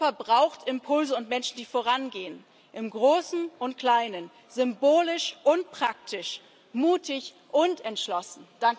Europa braucht Impulse und Menschen, die vorangehen im Großen und Kleinen, symbolisch und praktisch, mutig und entschlossen.